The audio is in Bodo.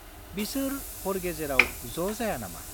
बिसोर हर गेजेराव ज' जाया नामा?